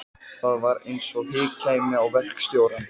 Það var eins og hik kæmi á verkstjórann.